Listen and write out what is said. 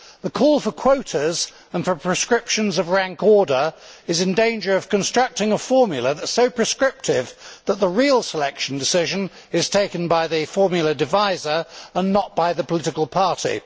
The call for quotas and for prescriptions of rank order is in danger of constructing a formula that is so prescriptive that the real selection decision is taken by the formula deviser and not by the political party.